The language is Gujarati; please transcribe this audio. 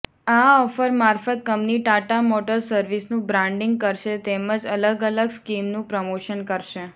આ ઓફર મારફત કંપની ટાટા મોટર્સ સર્વિસનું બ્રાન્ડિંગ કરશે તેમજ અલગઅલગ સ્કીમનું પ્રમોશન કરશે